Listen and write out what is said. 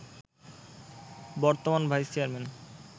বর্তমান vice chairman